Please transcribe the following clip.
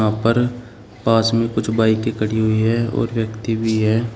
यहां पर पास में कुछ बाइके खड़ी हुई है और व्यक्ति भी है।